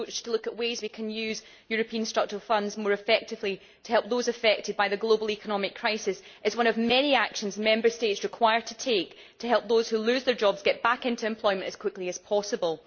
Looking at ways we can use European Structural Funds more effectively to help those affected by the global economic crisis is one of the many actions Member States need to take to help those who lose their jobs get back into employment as quickly as possible.